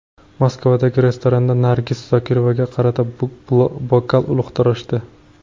Moskvadagi restoranda Nargiz Zokirovaga qarata bokal uloqtirishdi.